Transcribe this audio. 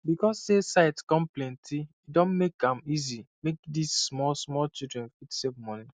because say site come plenty e don make am easy make this small small childen fit save moni